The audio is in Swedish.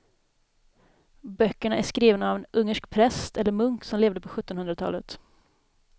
Böckerna är skrivna av en ungersk präst eller munk som levde på sjuttonhundratalet.